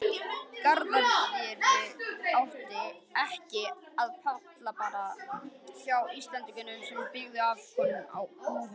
Garðyrkja átti ekki upp á pallborðið hjá Íslendingum sem byggðu afkomu sína á bústofni.